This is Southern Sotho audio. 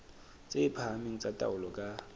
tse phahameng tsa taolo ka